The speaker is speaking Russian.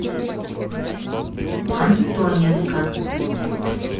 антоненко